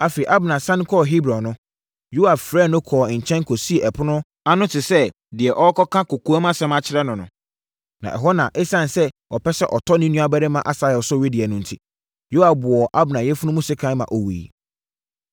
Afei, Abner sane kɔɔ Hebron no, Yoab frɛɛ no kɔɔ nkyɛn kɔsii ɛpono ano te sɛ deɛ ɔrekɔka kɔkoamsɛm akyerɛ no no. Na ɛhɔ no na ɛsiane sɛ ɔpɛ sɛ ɔtɔ ne nuabarima Asahel so wedeɛ no enti, Yoab wɔɔ Abner yafunu mu sekan ma ɔwuiɛ.